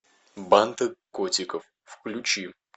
банды котиков включи